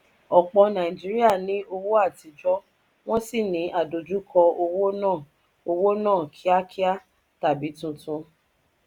ọpọ nàìjíríà ní owó atijọ wọ́n sì ní àdojúko owó náà owó náà kíákíá tàbí tuntun.